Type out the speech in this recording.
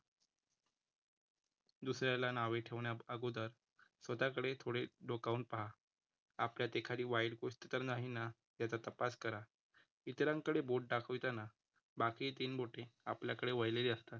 दुसऱ्याला नावे ठेवण्यात अगोदर स्वतःकडे थोडे डोकावून पहा. आपल्यात एखादी वाईट गोष्ट तर नाही ना? त्याचा तपास करा. इतरांकडे बोट दाखवताना बाकी तीन बोटे आपल्याकडे वळलेली असता